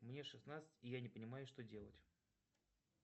мне шестнадцать и я не понимаю что делать